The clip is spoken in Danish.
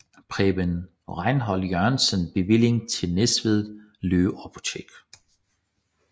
Preben Rejnhold Jørgensen bevillingen til Næstved Løve Apotek